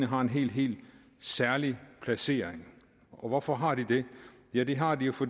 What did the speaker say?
har en helt helt særlig placering hvorfor har de det ja det har de jo for